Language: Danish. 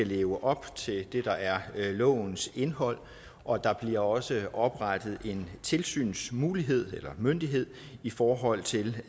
leve op til det der er lovens indhold og der bliver også oprettet en tilsynsmyndighed i forhold til